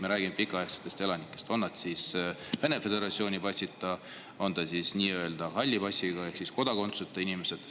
Me räägime pikaaegsetest elanikest, on nad siis Vene föderatsiooni passiga või siis nii-öelda halli passiga ehk kodakondsuseta inimesed.